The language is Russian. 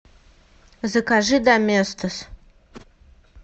закажи доместос